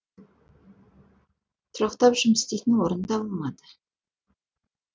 тұрақтап жұмыс істейтін орын табылмады